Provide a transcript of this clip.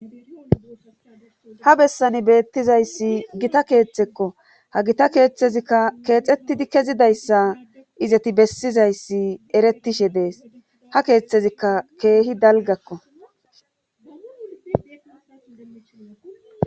ha bessani beettizayssi gita keeththekko ha gita keeththezikka keexettidi kezidayssa izati bessizayssi eretishe dees ha keeththezikka keehi dalgakko